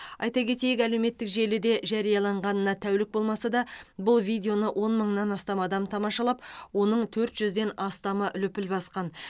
айта кетейік әлеуметтік желіде жарияланғанына тәулік болмаса да бұл видеоны он мыңнан астам адам тамашалап оның төрт жүзден астамы лүпіл басқан